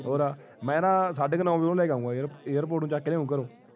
ਹੋਰ ਆ ਮੈਂ ਨਾ ਸਾਡੇ ਨੌ ਵਜੇ ਉਹਨੂੰ ਲੈ ਕੇ ਆਊਂਗਾ ਯਾਰ ਉਹਨੂੰ airport ਤੋਂ ਚੱਕ ਲਿਆ ਘਰੋਂ